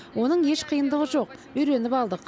оның еш қиындығы жоқ үйреніп алдық